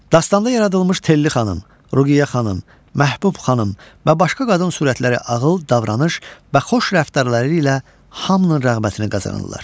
Dastanda yaradılmış Telli xanım, Ruqiyyə xanım, Məhbub xanım və başqa qadın sürətləri ağıl, davranış və xoş rəftarları ilə hamının rəğbətini qazanırlar.